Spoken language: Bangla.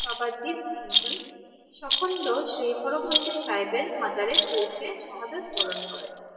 বাবা দ্বীপ সিং জী সখন্ড শ্রী হরমন্দির সাহেবের মাজারে পৌঁছে সাহাদাত পূরণ করেন